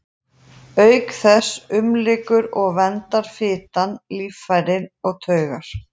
Auk þess umlykur og verndar fitan líffæri og taugar.